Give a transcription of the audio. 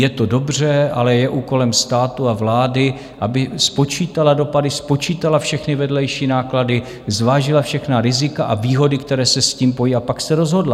Je to dobře, ale je úkolem státu a vlády, aby spočítala dopady, spočítala všechny vedlejší náklady, zvážila všechna rizika a výhody, které se s tím pojí, a pak se rozhodla.